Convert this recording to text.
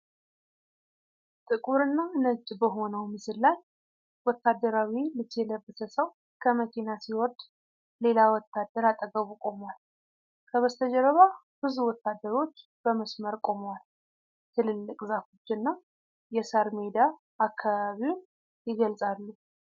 ጥቁርና ነጭ በሆነው ምስል ላይ ወታደራዊ ልብስ የለበሰ ሰው ከመኪና ሲወርድ ሌላ ወታደር አጠገቡ ቆሟል። ከበስተጀርባ ብዙ ወታደሮች በመስመር ቆመዋል፤ ትልልቅ ዛፎችና የሳር ሜዳ አካባቢውን ይገልጻሉ።